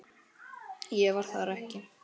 Ég var þar ekki lengi.